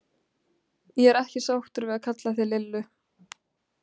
Ég er ekki sáttur við að kalla þig Lillu.